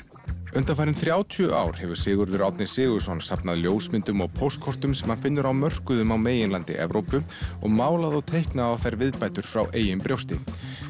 undanfarin þrjátíu ár hefur Sigurður Árni Sigurðsson safnað ljósmyndum á póstkortum sem hann finnur á mörkuðum á meginlandi Evrópu og málað og teiknað á þær viðbætur frá eigin brjósti